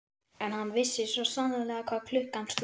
En hann vissi svo sannarlega hvað klukkan sló.